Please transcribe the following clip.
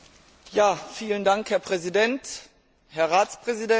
Herr Präsident, Herr Ratspräsident, Herr Kommissar!